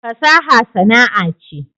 fasaha sana'a ce